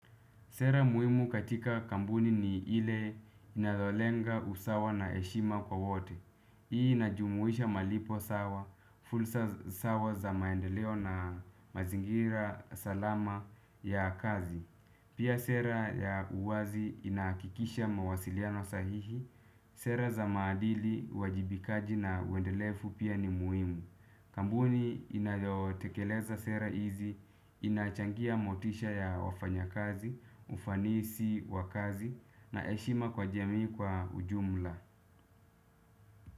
Sera muhimu katika kampuni ni ile inayolenga usawa na heshima kwa wote. Hii inajumuisha malipo sawa, fulsa sawa za maendeleo na mazingira salama ya kazi. Pia sera ya uwazi inaakikisha mawasiliano sahihi. Sera za maadili uwajibikaji na uwendelefu pia ni muhimu. Kambuni inayotekeleza sera hizi, inachangia motisha ya wafanya kazi, ufanisi wa kazi na heshima kwa jamii kwa ujumla.